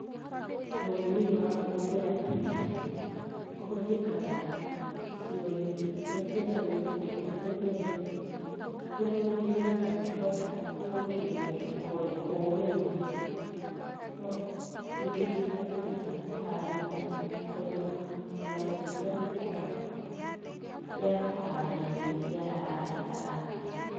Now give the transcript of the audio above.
Ũrĩmi ũyũ wa kũhũthĩra tinga ũhũthĩkaga icigo-inĩ iria ciĩna mĩgũnda ĩrĩa mĩnene kũrĩa mũrĩmi atangĩhota gũkinyaniria kũũrĩma.No tinga ici igatuĩka cia kũharĩria kũrĩma o na gũtũra mĩtaro ya kũhanda irio iria arabatara.